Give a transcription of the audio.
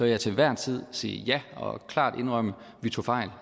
jeg til enhver tid sige ja og klart indrømme at vi tog fejl